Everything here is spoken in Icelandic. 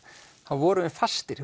vorum við fastir